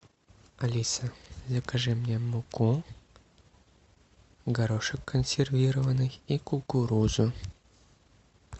алиса закажи мне муку горошек консервированный и кукурузу